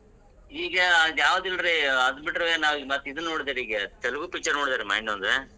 ಈಗ ಆದ್ ಯಾವದಿಲ್ರಿ ಆದ್ ಬಿಟ್ರ್ ನಾ ಮತ್ ಇದನ್ ನೋಡಿದೆ ಈಗ ತೆಲಗು picture ನೋಡಿದೆ ಈಗ ಮೊನ್ನೆ ಒಂದ್.